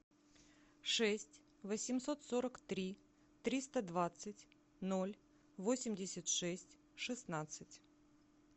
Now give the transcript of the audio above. шесть восемьсот сорок три триста двадцать ноль восемьдесят шесть шестнадцать